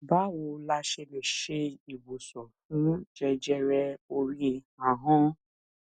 báwo la ṣe lè se iwosan fun jẹjẹre ori ahan